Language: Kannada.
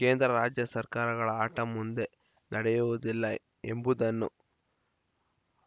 ಕೇಂದ್ರ ರಾಜ್ಯ ಸರ್ಕಾರಗಳ ಆಟ ಮುಂದೆ ನಡೆಯುವುದಿಲ್ಲ ಎಂಬುದನ್ನು